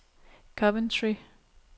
Coventry